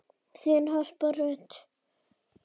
Þín Harpa Rut.